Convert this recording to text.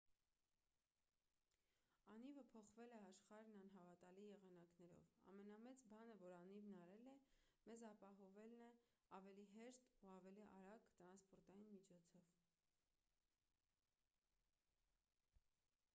անիվը փոխել է աշխարհն անհավատալի եղանակներով ամենամեծ բանը որ անիվն արել է մեզ ապահովելն է ավելի հեշտ և ավելի արագ տրանսպորտային միջոցով